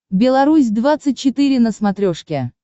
беларусь двадцать четыре на смотрешке